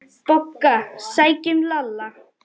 BOGGA: Sækjum Lalla!